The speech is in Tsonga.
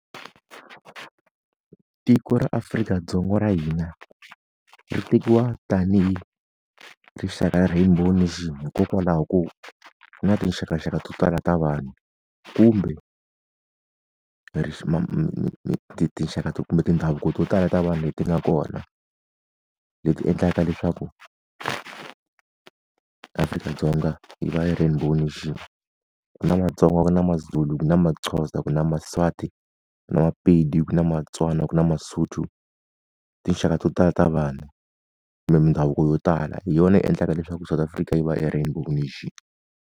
Tiko ra Afrika-Dzonga ra hina, ri tekiwa tanihi rixaka ra rainbow nation hikokwalaho ko, ku na tinxakanxaka to tala ta vanhu kumbe tinxaka kumbe ti ndhavuko to tala ta vanhu leti nga kona, leti endlaka leswaku, Afrika-Dzonga yi va yi ri rainbow nation. Ku na maTsonga, ku na maZulu, ku na maXhosa, ku na maSwati. Ku na maPedi, ku na maTswana, ku na maSotho. Tinxaka to tala ta vanhu. Kumbe mindhavuko yo tala, hi yona yi endlaka leswaku South Afrika yi va e rainbow nation.